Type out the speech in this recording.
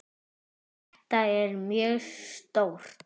En þetta er mjög stórt.